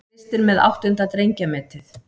Kristinn með áttunda drengjametið